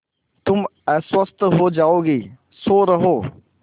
तुम अस्वस्थ हो जाओगी सो रहो